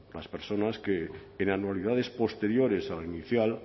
las personas que en anualidades posteriores a la inicial